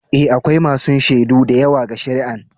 Eh, akwai masun shaidu da yawa ga shari'an.